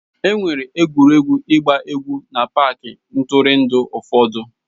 Enwere egwuregwu ịgba egwu n'paaki ntụrụndụ ụfọdụ.